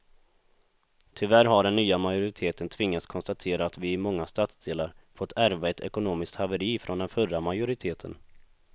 Tyvärr har den nya majoriteten tvingats konstatera att vi i många stadsdelar fått ärva ett ekonomiskt haveri från den förra majoriteten.